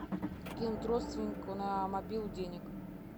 кинуть родственнику на мобилу денег